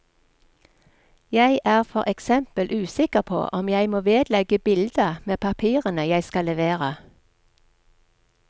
Jeg er for eksempel usikker på om jeg må vedlegge bilde med papirene jeg skal levere.